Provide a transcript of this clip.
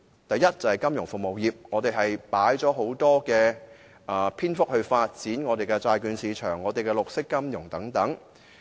第一，在金融服務方面，他用了很長篇幅論述如何發展債券市場、綠色金融等。